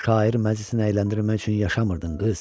Şair məclisinə əyləndirmək üçün yaşamırdın qız.